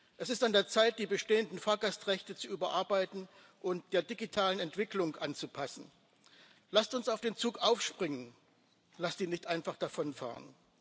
Es ist an der Zeit, die bestehenden Fahrgastrechte zu überarbeiten und der digitalen Entwicklung anzupassen. Lasst uns auf den Zug aufspringen, lasst ihn nicht einfach davonfahren!